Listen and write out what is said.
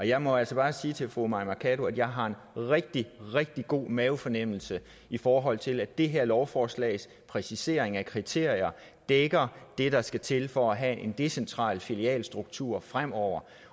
jeg må altså bare sige til fru mai mercado at jeg har en rigtig rigtig god mavefornemmelse i forhold til at det her lovforslags præcisering af kriterier dækker det der skal til for at have en decentral filialstruktur fremover